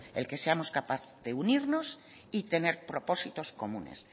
el que seamos capaz de unirnos y tener propósitos comunes